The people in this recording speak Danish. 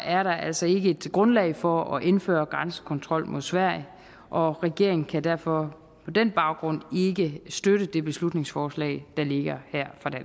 er der altså ikke et grundlag for at indføre grænsekontrol mod sverige og regeringen kan derfor på den baggrund ikke støtte det beslutningsforslag der ligger her